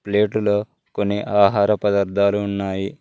Plate లో కొన్ని ఆహార పదార్థాలు ఉన్నాయి.